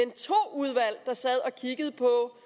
udvalg der sad og kiggede på